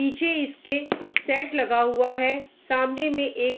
पीछे इसके शेड लगा हुआ है सामने में एक --